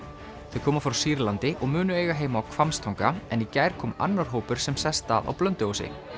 þau koma frá Sýrlandi og munu eiga heima á Hvammstanga en í gær kom annar hópur sem sest að á Blönduósi